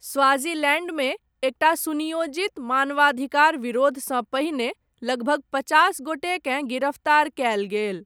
स्वाजीलैण्डमे, एकटा सुनियोजित मानवाधिकार विरोधसँ पहिने, लगभग पचास गोटेकेँ गिरफ्तार कयल गेल।